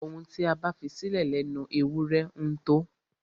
Ohun tí a bá fisílẹ̀ lẹnu ewúrẹ ńtó.